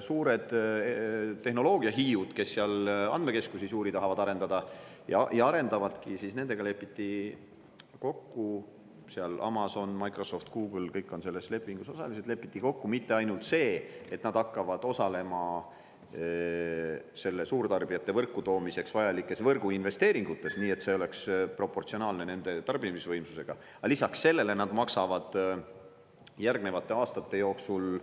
Suurte tehnoloogiahiidudega, kes tahavad seal suuri andmekeskusi arendada ja arendavadki – Amazon, Microsoft, Google ja kõik on selles lepingus osalised –, lepiti kokku mitte ainult see, et nad hakkavad osalema suurtarbijate võrku toomiseks vajalikes võrguinvesteeringutes, nii et see oleks proportsionaalne nende tarbimisvõimsusega, vaid ka see, et lisaks maksavad nad järgnevate aastate jooksul